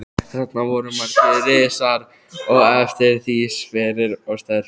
Þarna voru margir risar og eftir því sverir og sterkir.